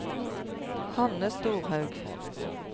Hanne Storhaug